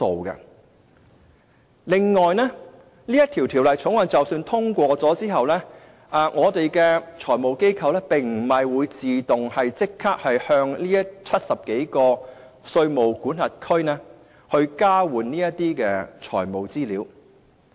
此外，即使《條例草案》獲得通過，我們的財務機構並不會自動立即與70多個稅務管轄區交換財務資料。